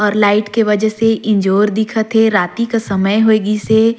और लाइट के वजह से इंजोर दिखथे राति का समय होइगीसे।